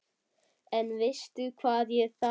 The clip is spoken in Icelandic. En veistu hvað ég þarf.